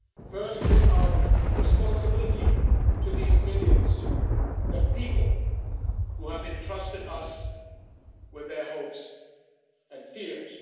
First is our responsibility to these millions the people who have entrusted us with their hopes and fears.